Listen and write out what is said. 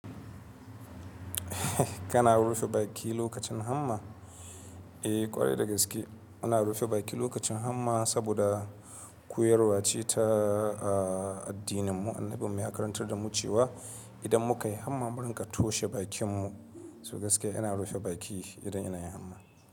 Kana rufe baki lokacin hamma? Eh kwarai da gaske. Ina rufe baki lokacin hamma saboda koyarwa ce ta addininmu. Annabin mu ya karantar da mu cewa idan muka yi hamma mu rinƙa toshe bakinmu. To gaskiya ina rufe baki idan ina yin hamma.